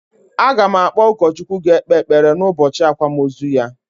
A ga m akpọ ụkọchukwu ga ekpe ekpere n'ubọchị akwamozu ya